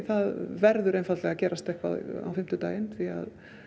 það verður að gerast eitthvað á fimmtudaginn því